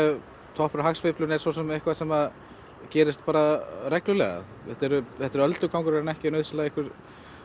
toppurinn á hagsveiflunni er eitthvað sem gerist bara reglulega þetta er þetta er öldugangur en ekki nauðsynlega einhver